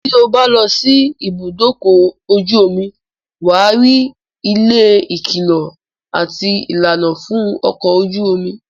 tí o bá lọ sí ìbùdókọ̀ ojú omi, wà á rí ilé ìkìlọ̀ àti ìlànà fún ọkọ̀ ojú omi.